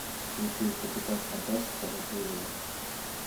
включи капитан фантастика на телевизоре